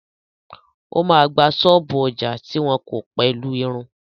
O ma gba ṣọ́ọ̀bú ọjà tí wọ́n kọ́ pẹ̀lú ìrìn.